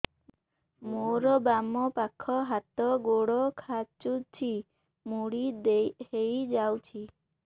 ମୋର ବାମ ପାଖ ହାତ ଗୋଡ ଖାଁଚୁଛି ମୁଡି ହେଇ ଯାଉଛି